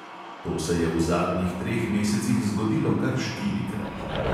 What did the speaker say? To se je v zadnjih treh mesecih zgodilo kar štirikrat.